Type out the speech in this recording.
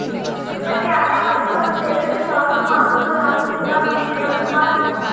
Patiala bypass ਨੇੜੇ ਵਿਸ਼ਾਲ ਸਮਾਗਮ ਦੌਰਾਨ ਸਿੰਗਲਾ ਨੂੰ ਕੀਤਾ ਸਨਮਾਨਿਤ